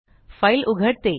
file उघडते